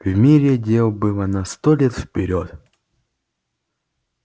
в мире дел было на сто лет вперёд